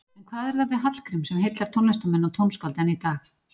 En hvað er það við Hallgrím sem heillar tónlistarmenn og tónskáld enn í dag?